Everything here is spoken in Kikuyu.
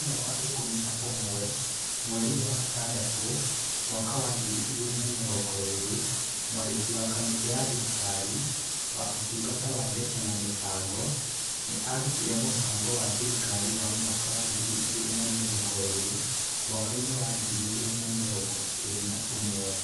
Mũthenya wa ikũmi na ũmwe mweri wa gatandatũ, mwaka wa ngiri igĩrĩ na mĩrongo ĩĩrĩ, Mwandĩki wa kamĩtĩ ya thirikari wa Ũtungata wa Mbeca na Mĩbango nĩ aarutire mũbango wa thirikari wa mwaka wa ngiri igĩrĩ na mĩrongo ĩĩrĩ / mwaka wa ngiri igĩrĩ na mĩrongo ĩĩrĩ na ũmwe.